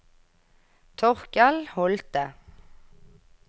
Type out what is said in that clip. Torkel Holte